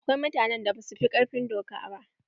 Akwai mutanen da ba su fi ƙarfin doka ba.